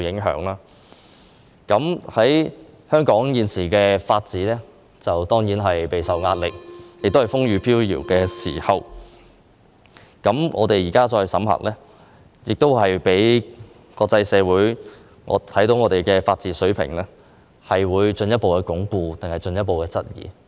香港現時的法治備受壓力，亦處於風雨飄搖的時候，我們現在審核《條例草案》，國際社會會認為香港的法治水平是進一步鞏固，還是進一步受質疑？